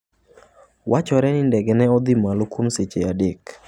Wachore ni ndege ne odhi malo kuom seche adek .